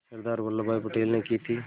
सरदार Vallabhbhai Patel ने की थी